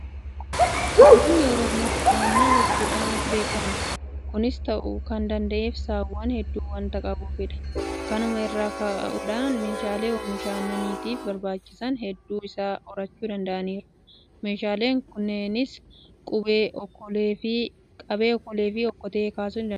Uummanni Oromoo aannan dhuguudhaan beekama. Kunis ta'uu kan danda'eef saawwan hedduu waanta qabuufidha. Kanuma irraa ka'uudhaan meeshaalee oomisha aannaniitiif barbaachisan hedduu isaa horachuu danda'aniiru. Meeshaaleen kunneenis Qabee, Okoleefi Okkotee kaasuu dandeenya. Uummanni kun Aannan isaas Qabeedhaan dhuga.